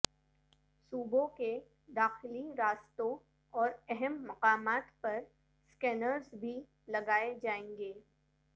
صوبوں کے داخلی راستوں اور اہم مقامات پر سکینرز بھی لگائیں جائیں گے